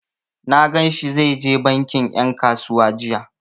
Na gan shi zai je bankin ƴan kasuwa jiya.